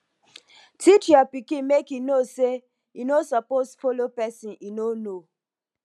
teach your pikin make e know say e no suppose follow pesin e no know